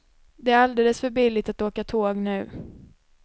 Det är alldeles för billigt att åka tåg nu.